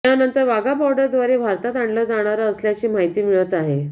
त्यानंतर वाघा बॉर्डरद्वारे भारतात आणलं जाणार असल्याची माहिती मिळत आहे